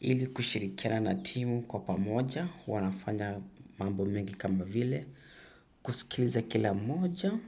Ili kushirikiana na timu kwa pamoja, huw nanafanya mambo mengi kama vile, kusikiliza kila mmoja,